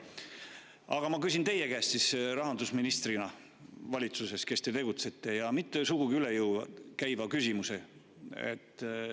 Aga ma küsin teie käest, kes te rahandusministrina valitsuses tegutsete, sugugi mitte üle jõu käiva küsimuse.